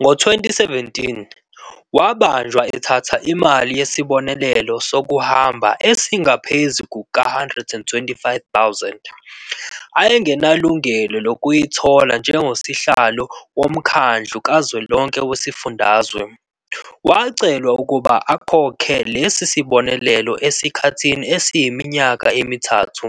Ngo-2017, wabanjwa ethatha imali yesibonelelo sokuhamba engaphezulu kuka-R125 000, ayengenalungelo lokuyithola njengosihlalo woMkhandlu Kazwelonke Wezifundazwe. Wacelwa ukuba akhokhele lesi sibonelelo esikhathini esiyiminyaka emithathu,